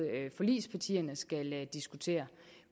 forligspartierne skal diskutere